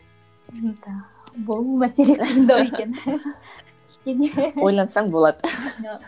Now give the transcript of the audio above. ну да бұл мәселе қиындау екен кішкене ойлансаң болады